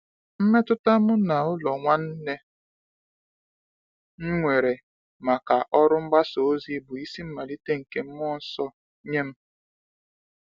Mmetụta mụ n’ụlọ nwanne m nwere maka ọrụ mgbasa ozi bụ isi mmalite nke mmụọ nsọ nye m.